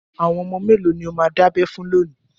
Àwọn ọmọ mélòó ni ó máa dábẹ fún lónìí?